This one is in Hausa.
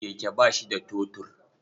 Keke ba shi da totur.